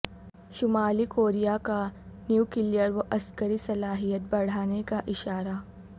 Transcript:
شمالی کوریا کا نیوکلیئر و عسکری صلاحیت بڑھانے کا اشارہ